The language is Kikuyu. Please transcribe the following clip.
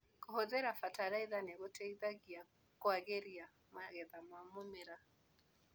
Kũhũthĩra bataraitha nĩgũteithagia kwagĩria magetha ma mĩmera.